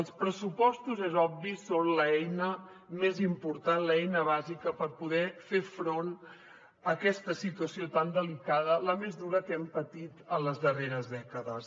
els pressupostos és obvi són l’eina més important l’eina bàsica per poder fer front a aquesta situació tan delicada la més dura que hem patit en les darreres dècades